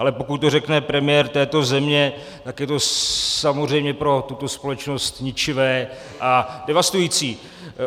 Ale pokud to řekne premiér této země, tak je to samozřejmě pro tuto společnost ničivé a devastující.